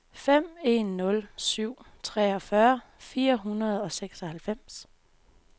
fem en nul syv treogfyrre fire hundrede og seksoghalvfems